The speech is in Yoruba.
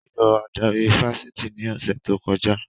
Wọ́n yọ adarí ifásitì ní ọ̀sẹ̀ tó kọjá